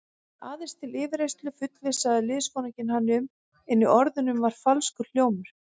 Aðeins til yfirheyrslu fullvissaði liðsforinginn hann um, en í orðunum var falskur hljómur.